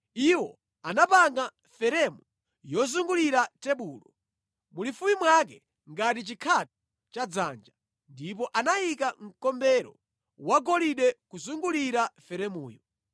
Iwo anapanga feremu yozungulira tebulo, mulifupi mwake ngati chikhatho cha dzanja, ndipo anayika mkombero wagolide kuzungulira feremuyo.